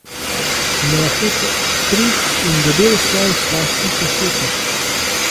Mehek kruh in debel sloj slastne paštete!